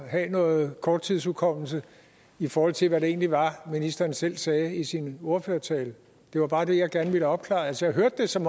at have noget korttidshukommelse i forhold til hvad det egentlig var ministeren selv sagde i sin ordførertale det var bare det jeg gerne ville have opklaret altså jeg hørte det som